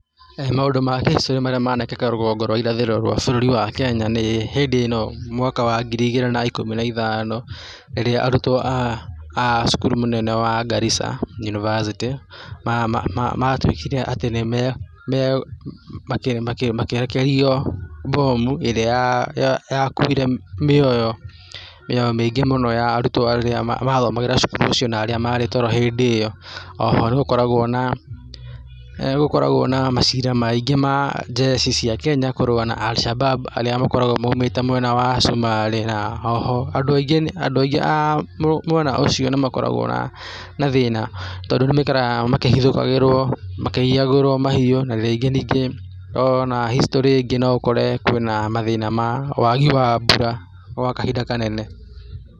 Maũndũ ma historĩ marĩa manekĩka rũgongo rwa irathĩro rwa bũrũri wa Kenya nĩ hĩndĩ ĩno mwaka wa ngiri igĩrĩ ikũmi na ithano rĩrĩa arutwo acukuru mũnene wa Garrisa University ma ma matuĩkire atĩ nĩme , makĩ makĩ makĩrekererio bomu ĩrĩa ya kuire mĩoyo mĩingĩ mũno ya arutwo arĩa mathomagĩra cukuru ũcio na arĩa marĩ toro hĩndĩ ĩyo oho nĩ gũkoragwo na eeh nĩ gũkoragwo na macira maingĩ ma jeshi kũrũa na Alshabab arĩa makoragwo maumĩte mwena wa cumarĩ oho andũ aingĩ, andũ aingĩ aaa mwena ũcio nĩ makoragwo na thĩna tondũ nĩ maikaraga makĩhithũkagĩrwo, makĩiyagwo mahiũ na rĩngĩ nyingĩ ona historĩ ĩngĩ no ũkũre kwĩna mathĩna ma wagi wa mbura gwa kahinda kanene.